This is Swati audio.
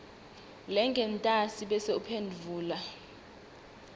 lengentasi bese uphendvula